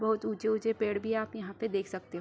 बोहोत ऊँचे-ऊँचे पेड़ भी आप यहाँ पे देख सकते --